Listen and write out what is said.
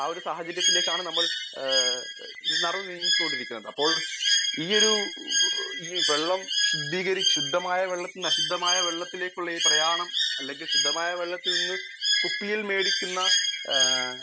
Speaker 1 ആ സാഹചര്യത്തിലേക്കാണ് നമ്മൾ നടന്നു നീങ്ങി കൊണ്ടിരിക്കുന്നത് . അപ്പോൾ ഈയൊരു ശുദ്ധമായ വെള്ളത്തിൽ നിന്ന് അശുദ്ധമായ വെള്ളത്തിലേക്ക് ഈ പ്രയാണം അല്ലെങ്കിൽ ശുദ്ധമായ വെള്ളത്തിൽ നിന്ന് കുപ്പിയിൽ മേടിക്കുന്ന